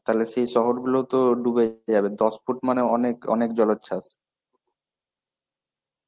তাহলে সেই শহরগুলো তো ডুবে যাবে দশ ফুট মানে অনেক অনেক জলচ্ছাস.